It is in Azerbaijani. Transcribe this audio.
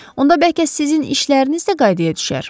Onda bəlkə sizin işləriniz də qaydaya düşər?